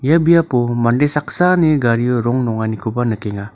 ia biapo mande saksani gario rong nonganikoba nikenga.